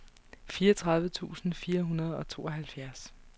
fireogtredive tusind fire hundrede og tooghalvfjerds